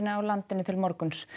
á landinu til morguns